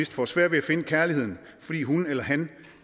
får sværere ved at finde kærligheden fordi hun eller han